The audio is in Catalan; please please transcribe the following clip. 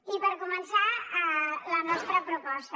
i per començar la nostra proposta